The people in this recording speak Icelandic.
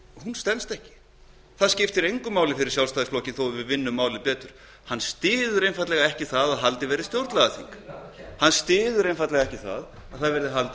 stenst ekki það skiptir engu máli fyrir sjálfstæðisflokkinn þó að vinnum málið betur hann styður það einfaldlega ekki að stjórnlagaþing verði haldið